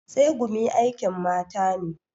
Tsegumi aikin mata ne.